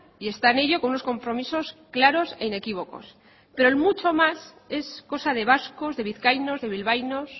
y está en ello con unos compromisos claros e inequívocos pero el mucho más es cosa de vascos de vizcaínos de bilbaínos